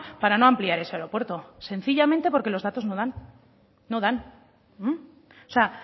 para no ampliar ese aeropuerto sencillamente porque los datos no dan no dan o sea